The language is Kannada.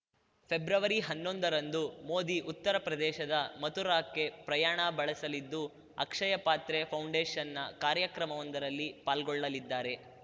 ಫೆಬ್ರವರಿಹನ್ನೊಂದರಂದು ಮೊದಿ ಉತ್ತರ ಪ್ರದೇಶದ ಮಥುರಾಕ್ಕೆ ಪ್ರಯಾಣ ಬಳಸಲಿದ್ದು ಅಕ್ಷಯ ಪಾತ್ರೆ ಫೌಂಡೇಶನ್‌ನ ಕಾರ್ಯಕ್ರಮವೊಂದರಲ್ಲಿ ಪಾಲ್ಗೊಳ್ಳಲಿದ್ದಾರೆ